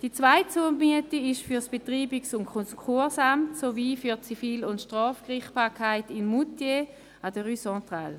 Die zweite Zumiete ist für das Betreibungs- und Konkursamt sowie für die Zivil- und Strafgerichtsbarkeit in Moutier an der Rue Centrale.